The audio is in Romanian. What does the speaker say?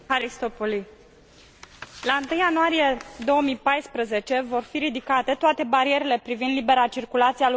La 1 ianuarie 2014 vor fi ridicate toate barierele privind libera circulație a lucrătorilor români și bulgari.